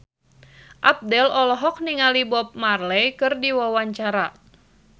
Abdel olohok ningali Bob Marley keur diwawancara